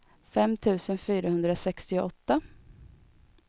fem tusen fyrahundrasextioåtta